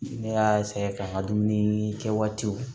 Ne y'a ka n ka dumuni kɛ waatiw